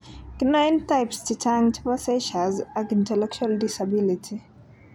Kinoen Types chechang chepo seizures ak intellectual disability.